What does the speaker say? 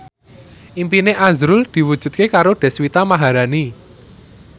impine azrul diwujudke karo Deswita Maharani